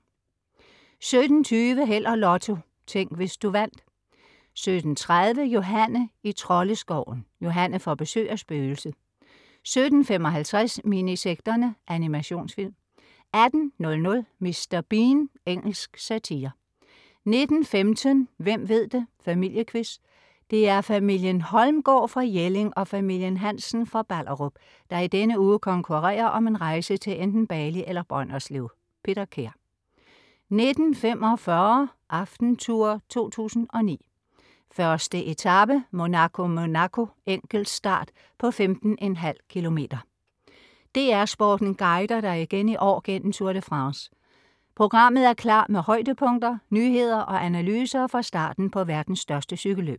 17.20 Held og Lotto. Tænk, hvis du vandt 17.30 Johanne i Troldeskoven. Johanne får besøg af spøgelset 17.55 Minisekterne. Animationsfilm 18.00 Mr. Bean. Engelsk satire 19.15 Hvem ved det!. Familiequiz. Det er familien Holmgaard fra Jelling og familien Hansen fra Ballerup, der i denne uge konkurrerer om en rejse til enten Bali eller Brønderslev. Peter Kær 19.45 Aftentour 2009. 1. etape: Monaco-Monaco, enkeltstart på 15,5 km. DR Sporten guider dig igen i år gennem Tour de France. Programmet er klar med højdepunkter, nyheder og analyser fra starten på verdens største cykelløb